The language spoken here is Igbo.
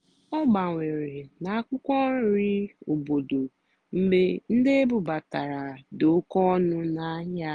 ọ́ gbànwèré nà ákwụ́kwọ́ nrì óbòdò mgbe ndí ébúbátàrá dì óké ónú n'àhịá.